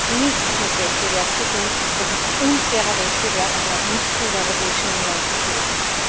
Das hat nichts mit Wettbewerb zu tun, das ist unfairer Wettbewerb, und er hat nichts in der Europäischen Union zu suchen.